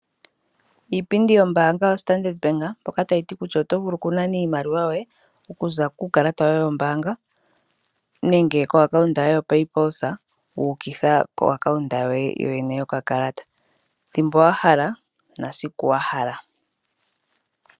Iipindi yombaanga yoStandard Bank mpoka tayi ti kutya oto vulu oku nana iimaliwa yoye okuza kuukalata wombaanga nenge okuza koakawunta yoye yopapoosa wu ukitha koakawunta yoye yoyene yokakalata thimbo wa hala na siku wa hala.